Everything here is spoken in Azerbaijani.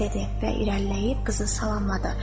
və irəliləyib qızı salamladı.